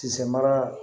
Tisanra